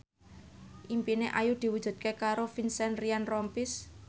impine Ayu diwujudke karo Vincent Ryan Rompies